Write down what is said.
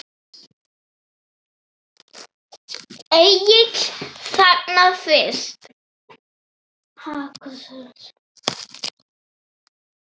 Egill þagnar fyrst.